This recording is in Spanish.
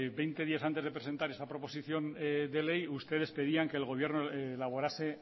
veinte días antes de presentar esa proposición de ley ustedes pedían que el gobierno elaborase